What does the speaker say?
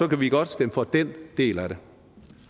vi godt stemme for den del af det